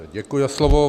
Děkuji za slovo.